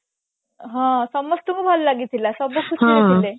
ହଁ ସମସ୍ତଙ୍କୁ ଭଲ ଲାଗିଥିଲା ସବୁ ଖୁସିରେ ଥିଲେ